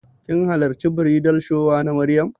Kin hallarci bridal shower na Maryam?